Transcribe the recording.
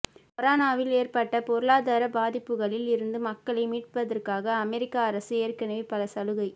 கொரோனாவில் ஏற்பட்ட பொருளாதார பாதிப்புகளில் இருந்து மக்களை மீட்பதற்காக அமெரிக்க அரசு ஏற்கனவே பல சலுகை